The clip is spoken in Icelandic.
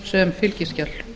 sem fylgiskjal